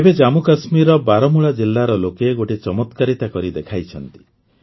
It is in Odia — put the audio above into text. ଏବେ ଜାମ୍ମୁକାଶ୍ମୀରର ବାରାମୂଳା ଜିଲାର ଲୋକେ ଗୋଟାଏ ଚମତ୍କାର କରିଦେଖାଇଛନ୍ତି